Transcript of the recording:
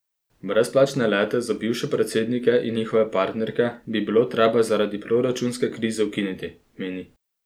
Brezplačne lete za bivše predsednike in njihove partnerke bi bilo treba zaradi proračunske krize ukiniti, meni.